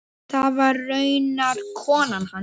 Það var raunar konan hans.